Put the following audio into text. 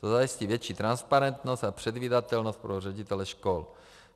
To zajistí větší transparentnost a předvídatelnost pro ředitele škol.